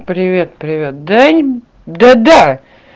привет привет дай да да